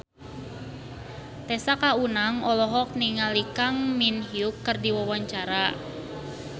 Tessa Kaunang olohok ningali Kang Min Hyuk keur diwawancara